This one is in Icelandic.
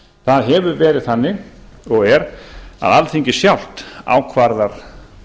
það hefur verið þannig og er að alþingi sjálft ákvarðar